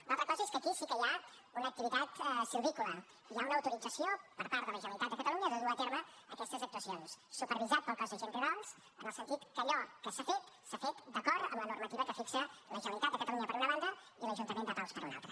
una altra cosa és que aquí sí que hi ha una activitat silvícola hi ha una autorització per part de la generalitat de catalunya de dur a terme aquestes actuacions supervisat pel cos d’agents rurals en el sentit que allò que s’ha fet s’ha fet d’acord amb la normativa que fixa la generalitat de catalunya per una banda i l’ajuntament de pals per una altra